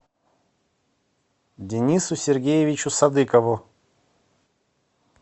денису сергеевичу садыкову